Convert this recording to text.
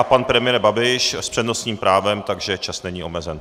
A pan premiér Babiš s přednostním právem, takže čas není omezen.